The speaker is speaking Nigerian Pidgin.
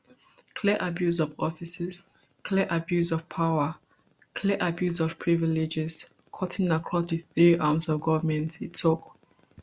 clear abuse of offices clear abuse of power clear abuse of privileges cutting across di three arms of goment e tok